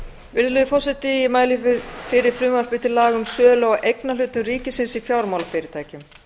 virðulegi forseti ég mæli fyrir frumvarpi til laga um sölu á eignarhlutum ríkisins í fjármálafyrirtækjum